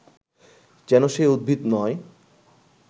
যেন সে উদ্ভিদ নয়